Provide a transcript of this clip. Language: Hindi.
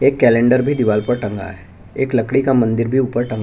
एक कैलेंडर भी दिवार पर टंगा है एक लकड़ी का मंदिर भी ऊपर टंगा--